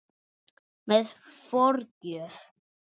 Með forgjöf